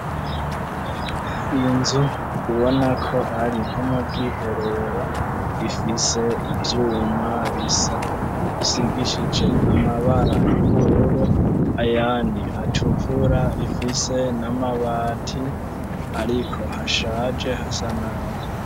Inzu ubona ko ari nko mu bw'iherero rifise ivyuma bisa isigishije amabara y'ubururu ayandi atukura rifise n'amabati ariko hashaje hasanabi.